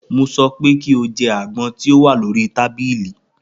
Mo sọ pé kí o jẹ àgbọn tí o wà lórí tábìlì!